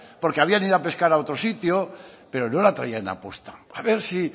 porque habrían ido a pescar a otro sitio pero no la traían aposta a ver si